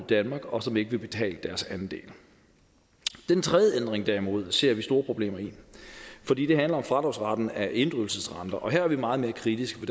danmark og som ikke vil betale deres andel den tredje ændring derimod ser vi store problemer i fordi den handler om fradragsretten af inddrivelsesrenter her er vi meget mere kritiske